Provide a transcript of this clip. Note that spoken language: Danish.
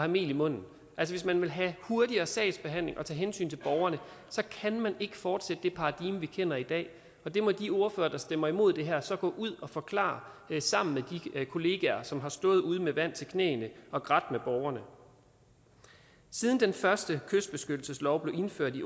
mel i munden altså hvis man vil have hurtigere sagsbehandling og tage hensyn til borgerne så kan man ikke fortsætte det paradigme vi kender i dag og det må de ordførere der stemmer imod det her så gå ud og forklare sammen med de kollegaer som har stået ude med vand til knæene og grædt med borgerne siden den første kystbeskyttelseslov blev indført i